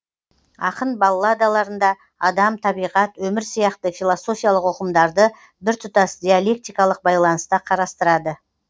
ақын балладаларында адам табиғат өмір сияқты философиялық ұғымдарды біртұтас диалектикалық байланыста қарастырады